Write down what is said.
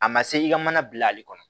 A ma se i ka mana bilali kɔnɔ